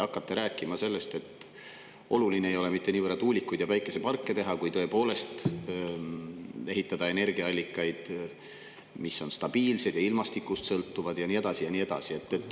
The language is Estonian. Hakkate rääkima sellest, et oluline ei ole mitte niivõrd tuulikuid ja päikeseparke teha, vaid ehitada energiaallikaid, mis on stabiilsed ja ilmastikust sõltuvad ja nii edasi ja nii edasi.